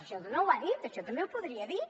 això no ho ha dit això també ho podria dir